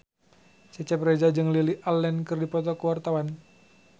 Cecep Reza jeung Lily Allen keur dipoto ku wartawan